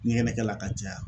ɲɛgɛnɛkɛ la ka caya.